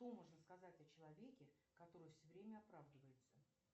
что можно сказать о человеке который все время оправдывается